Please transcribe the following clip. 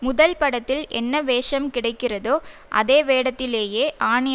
முதல் படத்தில் என்ன வேஷம் கிடைக்கிறதோ அதே வேடத்திலேயே ஆனி